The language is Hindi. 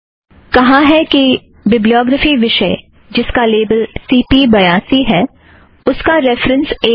कहा है यह बिब्लीयोग्रफ़ी विषय जिसका लेबल सी पी बयासी है उसका रेफ़रन्स एक है